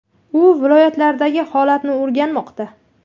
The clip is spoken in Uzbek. U viloyatlardagi holatni o‘rganmoqda.